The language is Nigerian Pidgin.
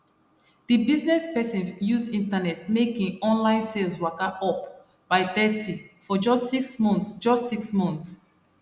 d business person use internet make im online sales waka up by thirty for just six months just six months